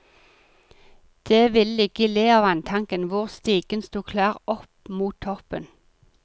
Det ville ligge i le av vanntanken, hvor stigen sto klar opp mot toppen.